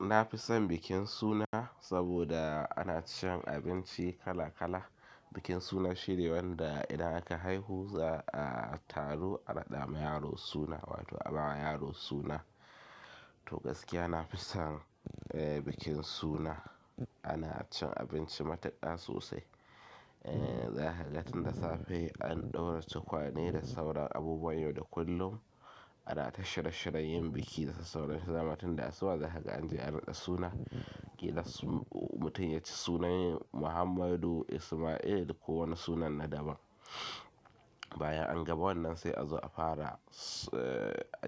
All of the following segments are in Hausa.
Na fi son bikin suna saboda ana cin abinci kala kala. Bikin suna shine wanda idan aka haihu za a taru a raɗa ma yaro suna wato a bawa yaro suna. To gaskiya na fi son bikin suna. Ana cin abinci matuƙa sosai. Za ka ga tun da safe an ɗaura tukwane da sauran abubuwan yau da kullum. Ana ta shirye shiryen yi biki da sauran su dama tinda asuba. Zakaga anje an raɗa suna idan mutum ya ci sunan Muhammadu Ismail ko wani sunan na daban. Bayan an ga wannan sai a zo a fara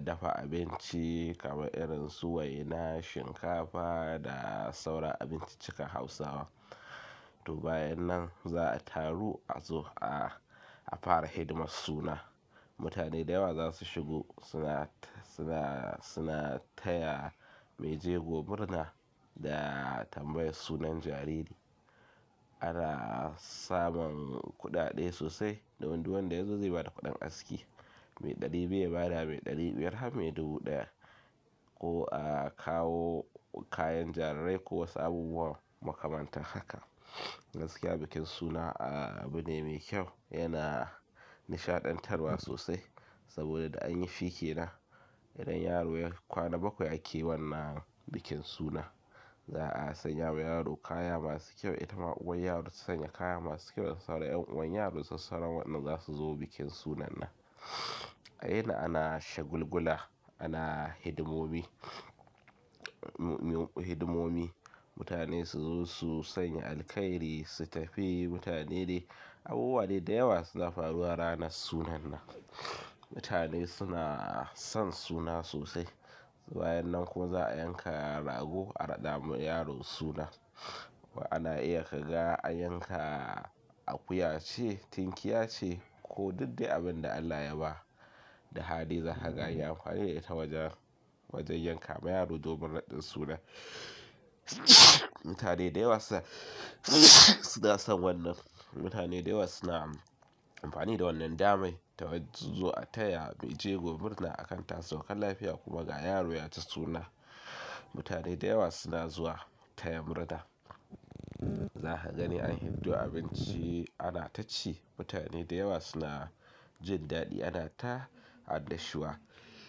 dafa abinci kamar irin su waina, shinkafa da sauran abinciccikan Hausawa. To bayan nan za a taru a zo a fara hidimar suna. Mutane da yawa za su shigo suna, suna, suna taya mai jego murna da tambayi sunan jariri. Ana samun kuɗaɗe sosai don duk wanda yazo zai ba da kuɗin aski. Mai ɗari biyu ya ba da me ɗari biyar har me dubu ɗaya. Ko a kawo kayan jarirai ko wasu abubuwan makamantan haka. Gaskiya bikin suna abu ne mai kyau yana nishaɗantarwa sosai saboda da an yi shi ke nan idan yaro ya yi kwana bakwai ake wannan bikin suna. Za a sanya wa yaro kaya masu kyau. Ita ma uwar yaro ta sanya kaya masu kyau da sauran 'yan uwan yaro da sassauran wa'yanda za su zo bikin sunan nan. A yina ana shagulgula, ana hidimomi, hidimomi. Mutane su zo su sanya alkairi, su tafi. Mutane dai abubuwa dai da yawa suna faruwa ranar sunan nan. Mutane suna son suna sosai. Bayan nan kuma za'a yanka rago a raɗama yaro suna. Kuma ana iya kaga an yanka akuya ce, tinkiya ce ko duk dai abin da Allah ya ba da hali. Za ka ga anyi amfani da ita wajen, wajen yanka ma yaro domin raɗin sunan. Mutane da yawa suna son wannan. Mutane da yawa suna amfani da wannan daman ta zuwa a taya mai jego murna akan ta sauka lafiya kuma ga yaro yaji suna. Mutane da yawa suna zuwa taya murna. Za ka gani an hiddo abinci ana ta ci. Mutane da yawa suna jin daɗi ana ta annashuwa.